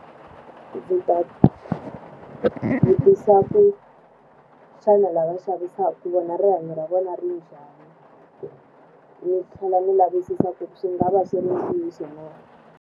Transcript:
Ndzi ta vutisa ku xana lava xavisaka vona rihanyo ra vona ri njhani? ni tlhela ni lavisisa ku swi nga va swi ri ntiyiso na.